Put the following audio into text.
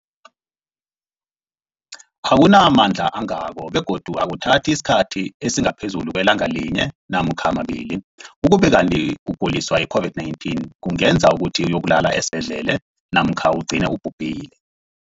akuna mandla angako begodu akuthathi isikhathi esingaphezulu kwelanga linye namkha mabili, ukube kanti ukuguliswa yi-COVID-19 kungenza ukuthi uyokulala esibhedlela namkha ugcine ubhubhile.